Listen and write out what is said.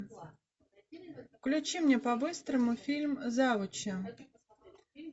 включи мне по быстрому фильм завучи